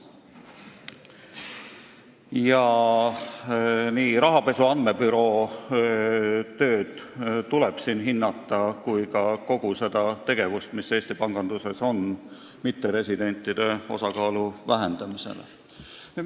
Siin tuleb hinnata nii rahapesu andmebüroo tööd kui ka kogu seda tegevust Eesti panganduses, et vähendada mitteresidentide osakaalu.